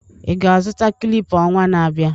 ị ga-azụta clipper ọnwa na-abịa?